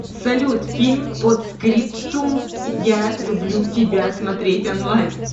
салют фильм подскриптум я люблю тебя смотреть онлайн